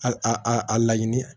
A a a laɲini